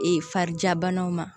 Ee farijabanaw ma